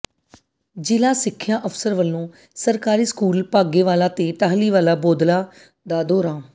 ਜ਼ਿਲ੍ਹਾ ਸਿੱਖਿਆ ਅਫ਼ਸਰ ਵੱਲੋਂ ਸਰਕਾਰੀ ਸਕੂਲ ਬਾਘੇ ਵਾਲਾ ਤੇ ਟਾਹਲੀ ਵਾਲਾ ਬੌਦਲਾ ਦਾ ਦੌਰਾ